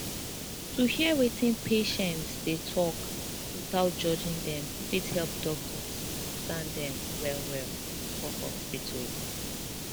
to hear wetin patients dey talk without judging dem fit help doctors understand dem wellwell for hospital